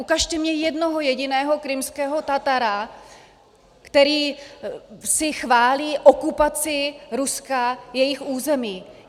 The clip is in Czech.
Ukažte mi jednoho jediného krymského Tatara, který si chválí okupaci Ruska jejich území.